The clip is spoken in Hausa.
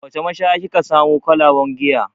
A wace mashaya ki ka samo kwalaben giya?